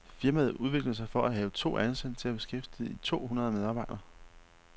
Firmaet udviklede sig fra at have to ansatte til at beskæftige to hundrede medarbejdere.